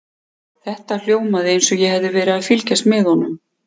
Þetta hljómaði eins og ég hefði verið að fylgjast með honum.